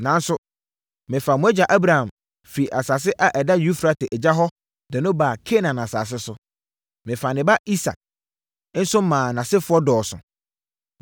Nanso, mefaa mo agya Abraham firii asase a ɛda Eufrate agya hɔ de no baa Kanaan asase so. Mefaa ne ba Isak so maa nʼasefoɔ dɔɔso.